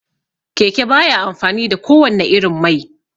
Keke baya amfani da ko wanne irin mai